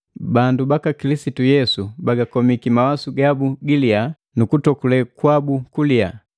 Bandu baka Kilisitu Yesu bagakomiki mawasu gabu giliya nu kutokule kwabu kuliya.